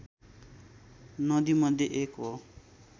नदीमध्ये एक हो